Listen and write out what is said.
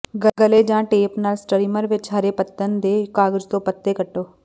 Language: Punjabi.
ਗਲੇ ਜਾਂ ਟੇਪ ਨਾਲ ਸਟਰੀਮਰ ਵਿਚ ਹਰੇ ਪੱਤਣ ਦੇ ਕਾਗਜ਼ ਤੋਂ ਪੱਤੇ ਕੱਟੋ